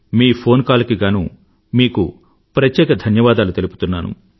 మీ phone call కి గానూ మీకు ప్రత్యేక ధన్యవాదాలు తెలుపుతున్నాను